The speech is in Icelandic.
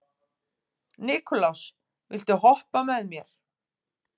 Nikulás, viltu hoppa með mér?